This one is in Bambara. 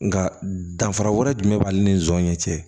Nga danfara wɛrɛ jumɛn b'ale nisɔn ɲɛ cɛ